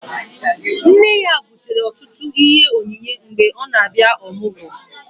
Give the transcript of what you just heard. Nne ya butere ọtụtụ ihe onyinye mgbe ọ na-abịa ọmụgwọ